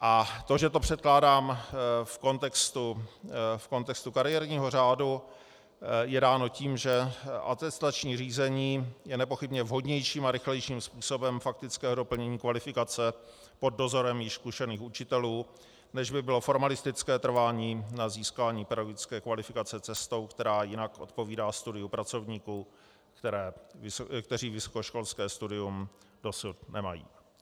A to, že to předkládám v kontextu kariérního řádu, je dáno tím, že atestační řízení je nepochybně vhodnějším a rychlejším způsobem faktického doplnění kvalifikace pod dozorem již zkušených učitelů, než by bylo formalistické trvání na získání pedagogické kvalifikace cestou, která jinak odpovídá studiu pracovníků, kteří vysokoškolské studium dosud nemají.